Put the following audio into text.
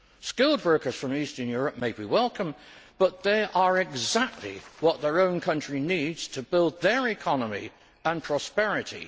Skilled workers from Eastern Europe may be welcome, but they are exactly what their own country needs to build their economy and prosperity.